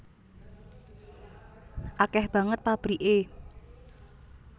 Akeh banget pabrike